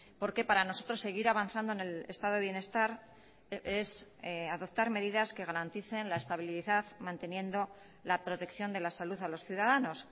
porque para nosotros seguir avanzando en el estado de bienestar es adoptar medidas que garanticen la estabilidad manteniendo la protección de la salud a los ciudadanos